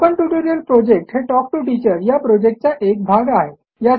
spoken tutorial project हे talk to teacher या प्रॉजेक्टचा एक भाग आहे